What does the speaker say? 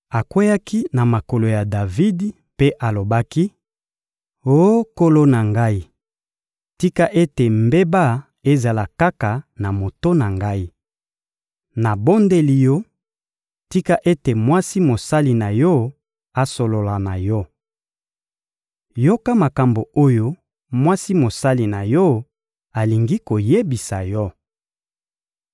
Akweyaki na makolo ya Davidi mpe alobaki: — Oh nkolo na ngai, tika ete mbeba ezala kaka na moto na ngai! Nabondeli yo, tika ete mwasi mosali na yo asolola na yo! Yoka makambo oyo mwasi mosali na yo alingi koyebisa yo.